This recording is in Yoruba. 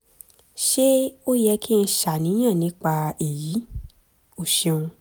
ṣé ó yẹ kí n ṣàníyàn nípa èyí? o ṣeun